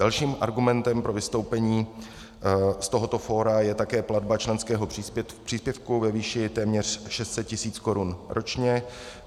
Dalším argumentem pro vystoupení z tohoto fóra je také platba členského příspěvku ve výši téměř 600 tis. korun ročně.